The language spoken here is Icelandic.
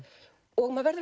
og maður verður